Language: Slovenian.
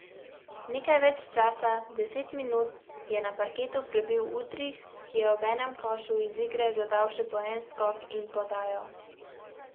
Nekaj več časa, deset minut, je na parketu prebil Udrih, ki je ob enem košu iz igre dodal še po en skok in podajo.